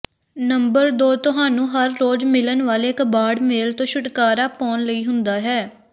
number ਦੋ ਤੁਹਾਨੂੰ ਹਰ ਰੋਜ਼ ਮਿਲਣ ਵਾਲੇ ਕਬਾੜ ਮੇਲ ਤੋਂ ਛੁਟਕਾਰਾ ਪਾਉਣ ਲਈ ਹੁੰਦਾ ਹੈ